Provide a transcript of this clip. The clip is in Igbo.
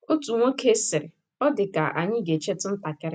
Otu nwoke sịrị, Ọ dị ka ànyị ga - echetụ ntakịrị.